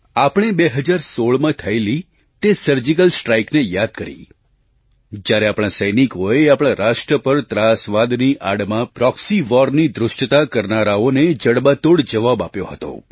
આપણે 2016માં થયેલી તે સર્જિકલ સ્ટ્રાઇકને યાદ કરી જ્યારે આપણા સૈનિકોએ આપણા રાષ્ટ્ર પર ત્રાસવાદની આડમાં પ્રૉક્સી વૉરની ધૃષ્ટતા કરનારાઓને જડબાતોડ જવાબ આપ્યો હતો